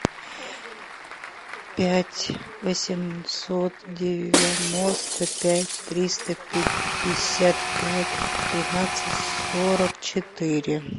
пять восемьсот девяносто пять триста пятьдесят пять тринадцать сорок четыре